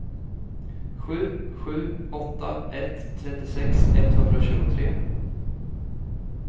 sju sju åtta ett trettiosex etthundratjugotre